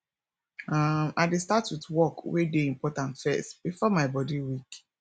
um i dey start with work wey dey important first bifor my body weak